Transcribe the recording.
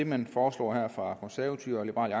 man foreslår her fra konservatives og liberal